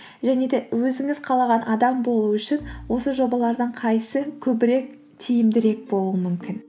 және де өзіңіз қалаған адам болу үшін осы жобалардың қайсысы көбірек тиімдірек болуы мүмкін